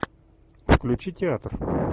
включи театр